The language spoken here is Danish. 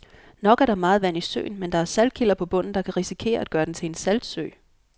Nok er der meget vand i søen, men der er saltkilder på bunden, der kan risikere at gøre den til en saltsø.